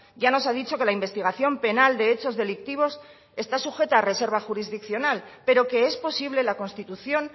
ya nos ha dicho que la investigación penal de hechos delictivos está sujeta a reserva jurisdiccional pero que es posible la constitución